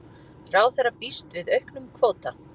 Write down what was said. Ráðherra býst við auknum kvóta